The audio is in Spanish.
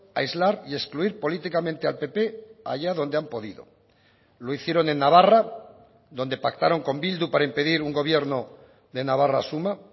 aislar y excluir políticamente al pp allá donde han podido lo hicieron en navarra donde pactaron con bildu para impedir un gobierno de navarra suma